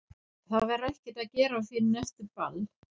Það verður ekkert að gera fyrr en eftir ball.